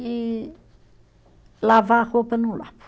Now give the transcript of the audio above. E, lavar roupa, não lavo.